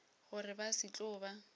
gore ba se tlo ba